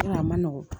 a man nɔgɔn